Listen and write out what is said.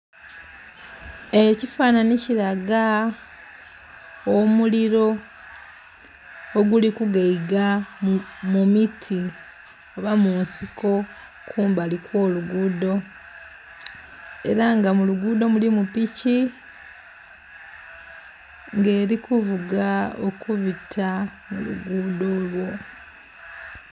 Ekifananhi kilaga omuliro oguli ku gaiga mu miti oba munsiko kumbali kwo lugudho era nga mu lugudho mulimu piki nga eri kuvuga okubita mu lugudho olwo.